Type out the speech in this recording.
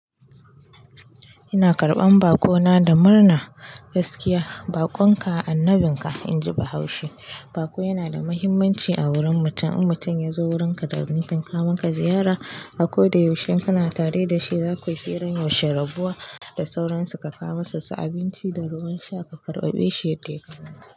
Ina karɓan bakona da murna gaskiya. Baƙon ka annabinka, inji bahaushe. Baƙo yana da mahimmanci a wurin mutum. In mutum ya zo wurinka da nufin kawo maka ziyara, a ko da yaushe kana tare da shi zakayi hirar yaushe rabuwa da sauransu ka kawo masa su abinci da ruwan sha ka karɓa bashi yadda yadda ya kamata.